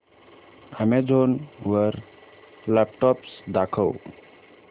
Amazon वर laptops दाखव